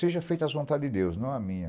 Seja feita as vontades de Deus, não a minha.